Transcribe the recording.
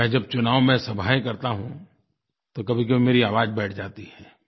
मैं जब चुनाव में सभायें करता हूँ तो कभीकभी मेरी आवाज़ बैठ जाती है